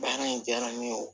Baara in diyara ne ye o